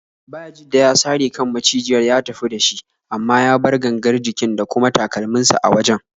Bayajidda ya sare kan macijiyar ya tafi da shi, amma ya bar gangar jikin da kuma takalminsa a wajen.